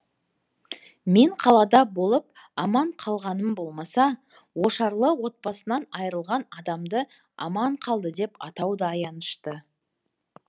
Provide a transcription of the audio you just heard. мен қалада болып аман қалғаным болмаса ошарлы отбасынан айрылған адамды аман қалды деп атау да аянышты